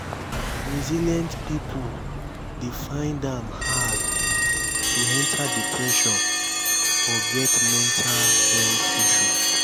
resilient pipo dey find am hard to enter depression or get mental health issue